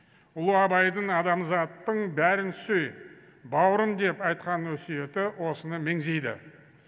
ұлы абайдың адамзаттың бәрін сүй бауырым деп айтқан өсиеті осыны меңзейді